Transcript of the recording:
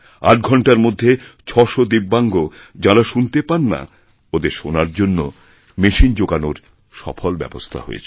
আটঘণ্টার মধ্যে ছশো দিব্যাঙ্গ যাঁরা শুনতে পান না ওঁদের শোনার জন্য মেশিন যোগানোরসফল ব্যবস্থা হয়েছিল